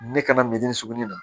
Ne kana min sugunɛ na